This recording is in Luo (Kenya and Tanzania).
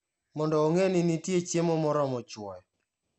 Mondo ong'e ni nitie chiemo moromo chwoyo.